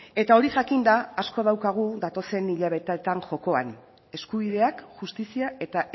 eta hori jakinda asko daukagu datozen hilabetetan jokoan eskubideak justizia eta